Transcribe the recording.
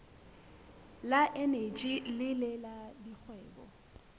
le eneji le la dikgwebo